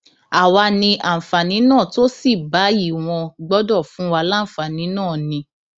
àwa ní àǹfààní náà tó sì báyìí wọn gbọdọ fún wa láǹfààní náà ni